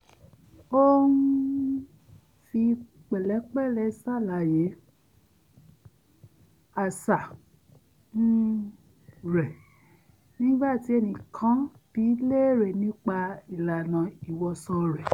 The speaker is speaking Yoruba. ó um fi pẹ̀lẹ́pẹ̀lẹ́ ṣàlàyé àṣà um rẹ̀ nígbà tí ẹnìkan bi í léèrè nipa ìlànà ìwọṣọ rẹ̀